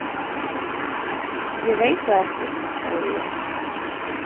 Ég veit það ekki, sagði ég.